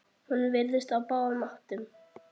Hún virtist á báðum áttum.